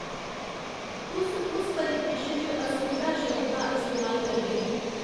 तुस कुस परिदृश्य च असुविधा शब्द दा इस्तेमाल करगे